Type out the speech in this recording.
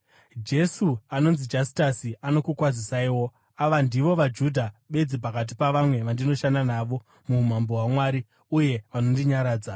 Jesu anonzi Jastasi, anokukwazisaiwo. Ava ndivo vaJudha bedzi pakati pavamwe vandinoshanda navo muumambo hwaMwari, uye vanondinyaradza.